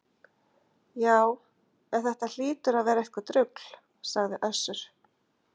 Já, en þetta hlýtur að vera eitthvert rugl, sagði Össur